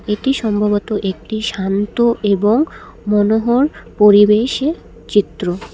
এটা সম্ভবত একটি শান্ত এবং মনোহর পরিবেশের চিত্র।